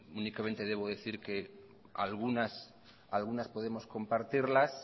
únicamente debo decir que algunas podemos compartirlas